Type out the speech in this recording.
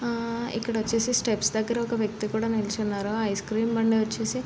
ఆ ఇక్కడ వచ్చేసి స్టెప్స్ దగ్గర ఒక వ్వక్తి కూడా నీచోని ఉన్నారు. ఐస్ క్రీం బండి వచ్సిసి --